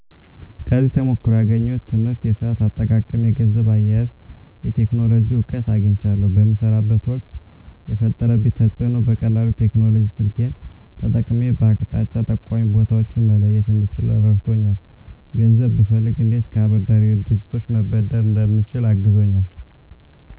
ከዚህ ተሞክሮ ያገኘሁት ትምህርት የሰአት አጠቃቀም የገንዘብ አያያዝ የቴክኖሎጂ እውቀት አግኝቻለሁ በምሰራበት ወቅት የፈጠረብኝ ተፅእኖ በቀላሉ ቴክኖሎጂ ስልኬን ተጠቅሜ በአቅጣጫ ጠቋሚ ቦታወችን መለየት እንድችል ረድቶኛል ገንዘብ ብፈልግ እንዴት ከአበዳሪ ድርጅቶች መበደር እንደምችል አግዞኛል